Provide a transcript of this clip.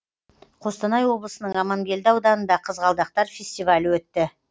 қостанай облысының амангелді ауданында қызғалдақтар фестивалі өтті